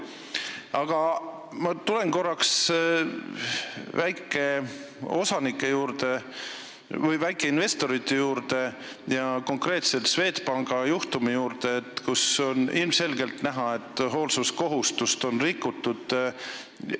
Aga ma tulen korraks väikeinvestorite juurde ja konkreetselt Swedbanki juhtumi juurde, kus oli ilmselgelt näha, et hoolsuskohustust oli rikutud.